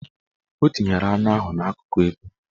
O tinyere anụ ahụ n'akụkụ ekwu